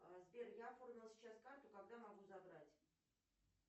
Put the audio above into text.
сбер я оформила сейчас карту когда могу забрать